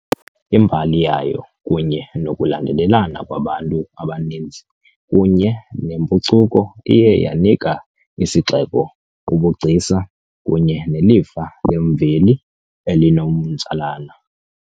Imbali yayo kunye nokulandelelana kwabantu abaninzi kunye nempucuko iye yanika isixeko ubugcisa kunye nelifa lemveli elinomtsalane.